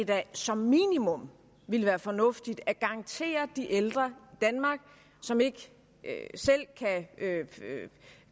da som minimum ville være fornuftigt at garantere de ældre danmark som ikke selv kan